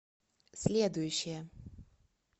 следующая